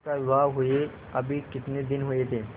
उसका विवाह हुए अभी कितने दिन हुए थे